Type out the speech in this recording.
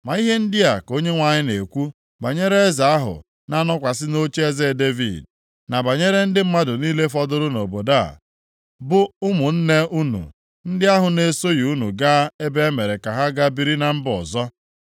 Ma ihe ndị a ka Onyenwe anyị na-ekwu banyere eze ahụ na-anọkwasị nʼocheeze Devid, na banyere ndị mmadụ niile fọdụrụ nʼobodo a, bụ ụmụnne unu ndị ahụ na-esoghị unu gaa ebe e mere ka ha ga biri na mba ọzọ.